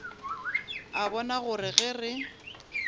a bona gore ge re